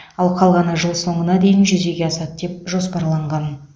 ал қалғаны жыл соңына дейін жүзеге асады деп жоспарланған